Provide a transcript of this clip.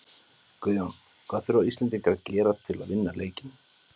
Guðjón, hvað þurfa Íslendingar að gera til að vinna leikinn?